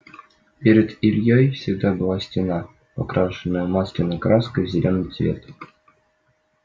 перед ильёй всегда была стена покрашенная масляной краской в зелёный цвет